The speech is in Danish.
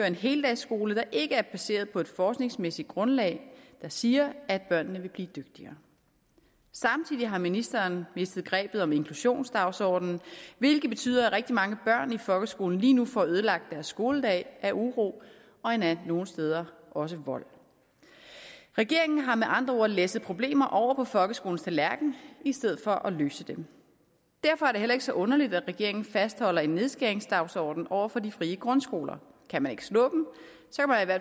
en heldagsskole der ikke er baseret på et forskningsmæssigt grundlag der siger at børnene vil blive dygtigere samtidig har ministeren mistet grebet om inklusionsdagsordenen hvilket betyder at rigtig mange børn i folkeskolen lige nu får ødelagt deres skoledag af uro og endda nogle steder også vold regeringen har med andre ord læsset problemer over på folkeskolens tallerken i stedet for at løse dem derfor er det heller ikke så underligt at regeringen fastholder en nedskæringsdagsorden over for de frie grundskoler kan man ikke slå